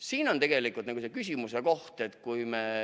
Siin on tegelikult küsimuse koht.